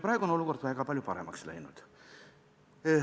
Praegu on olukord väga palju paremaks läinud.